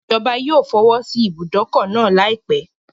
Ìjọba yóò fọwọ́sí ìbùdókọ̀ náà láìpẹ́.